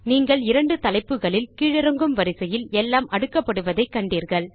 நீங்கள் இரண்டு தலைப்புகளில் கீழிறங்கும் வரிசையில் எல்லாம் அடுக்கப்படுவதை காண்கிறீர்கள்